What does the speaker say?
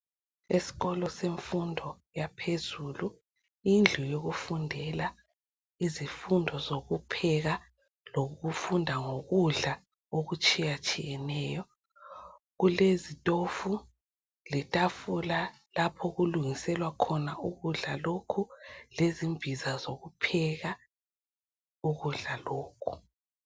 Isikolo semfundo yaphezulu indlu yokufundela izifundo zokupheka lokufunda ngokudla okutshiya tshiyeneyo kulezitofu letafula lapha okulungiselwa khona ukudla lokhu lezimbiza zokupheka ukudla lokhu